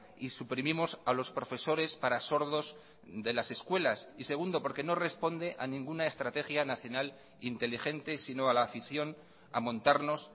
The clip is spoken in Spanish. y suprimimos a los profesores para sordos de las escuelas y segundo porque no responde a ninguna estrategia nacional inteligente sino a la afición a montarnos